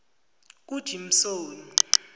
kujimsoni